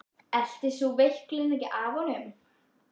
Eltist sú veiklun ekki af honum.